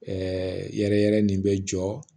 Ɛɛ yɛrɛ yɛrɛ nin bɛ jɔ